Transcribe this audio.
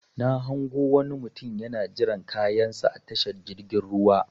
Na hango wani mutum yana jiran kayan sa a tashar jirgin ruwa.